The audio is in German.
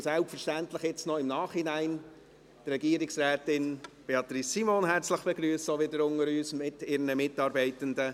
Ich begrüsse selbstverständlich im Nachhinein noch Regierungsrätin Beatrice Simon mit ihren Mitarbeitenden.